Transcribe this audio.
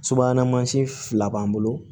Subahana mansin fila b'an bolo